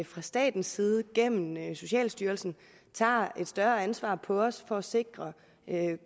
fra statens side gennem socialstyrelsen tager et større ansvar på os for at sikre